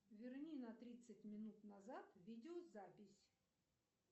верни на тридцать минут назад видеозапись